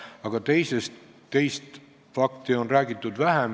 Aga teisest faktist on räägitud vähem.